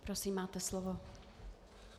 Prosím, máte slovo.